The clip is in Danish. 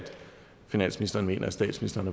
finansministeren mener at statsministeren